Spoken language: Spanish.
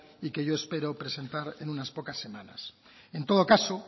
y que yo espero presentar en unas pocas semanas en todo caso